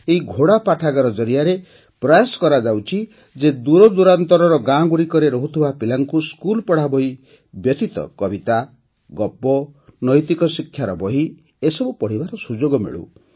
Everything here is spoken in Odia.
ଏହି ଘୋଡ଼ା ପାଠାଗାର ଜରିଆରେ ପ୍ରୟାସ କରାଯାଉଛି ଯେ ଦୂରଦୂରାନ୍ତରର ଗାଁଗୁଡ଼ିକରେ ରହୁଥିବା ପିଲାଙ୍କୁ ସ୍କୁଲ୍ ପଢ଼ାବହି ବ୍ୟତୀତ କବିତା ଗପ ଓ ନୈତିକଶିକ୍ଷାର ବହି ପଢ଼ିବାର ସୁଯୋଗ ମିଳୁ